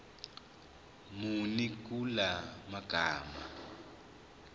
muni kula magama